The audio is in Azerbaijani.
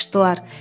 Qaçışdılar.